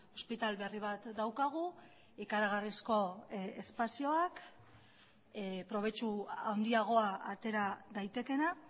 ospitale berri bat daukagu ikaragarrizko espazioak probetxu handiagoa atera daitekeena